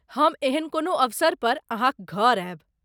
हम एहन कोनो अवसर पर अहाँक घर आयब।